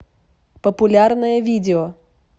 популярное видео